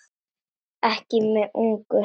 Ekki mjög ungur.